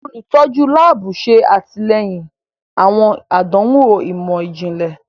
Olutọju laabu ṣe atilẹyin awọn àdánwò imọ-jinlẹ.